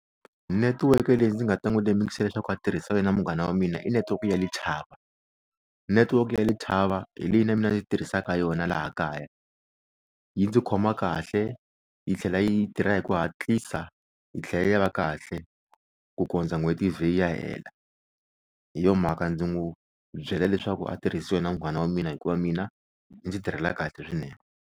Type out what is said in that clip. Netiweke leyi ndzi nga ta n'wi lemukisa leswaku a tirhisa yona munghana wa mina i netiweke ya Lethaba netiweke ya Lethaba hi leyi na mina ni tirhisaka yona laha kaya yi ndzi khoma kahle yi tlhela yi tirha hi ku hatlisa yi tlhela yi va kahle ku kondza n'hweti yi ze yi ya hela hi yo mhaka ndzi n'wi byela leswaku a tirhisi yona munghana wa mina hikuva mina yi ndzi tirhela kahle swinene.